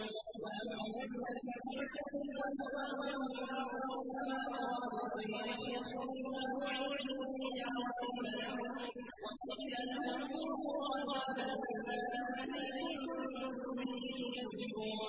وَأَمَّا الَّذِينَ فَسَقُوا فَمَأْوَاهُمُ النَّارُ ۖ كُلَّمَا أَرَادُوا أَن يَخْرُجُوا مِنْهَا أُعِيدُوا فِيهَا وَقِيلَ لَهُمْ ذُوقُوا عَذَابَ النَّارِ الَّذِي كُنتُم بِهِ تُكَذِّبُونَ